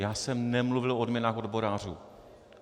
Já jsem nemluvil o odměnách odborářů.